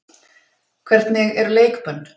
Hvernig eru leikbönn?